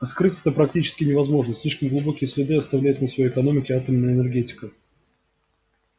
а скрыть это практически невозможно слишком глубокие следы оставляет на всей экономике атомная энергетика